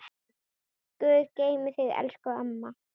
Guð geymi þig, elsku amma.